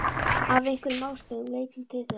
Af einhverjum ástæðum leiti hún þeirra.